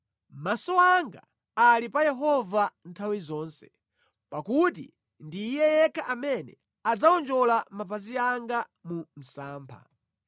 Maso anga ali pa Yehova nthawi zonse, pakuti ndi Iye yekha amene adzawonjola mapazi anga mu msampha.